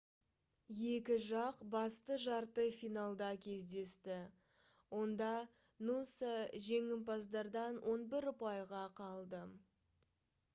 екі жақ басты жарты финалда кездесті онда нуса жеңімпаздардан 11 ұпайға қалды